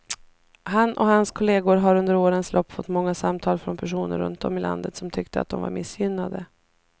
Han och hans kolleger har under årens lopp fått många samtal från personer runt om i landet som tyckte att de var missgynnade.